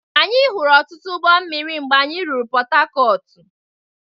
Anyị hụrụ ọtụtụ ụgbọ mmiri mgbe anyị ruru Pọtakọọtụ.